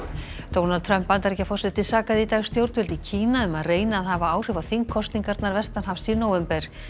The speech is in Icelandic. Donald Trump Bandaríkjaforseti sakaði í dag stjórnvöld í Kína um að reyna að hafa áhrif á þingkosningarnar vestanhafs í nóvember